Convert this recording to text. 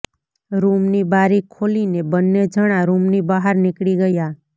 રૂમની બારી ખોલીને બંને જણાં રૂમની બહાર નીકળી ગયાં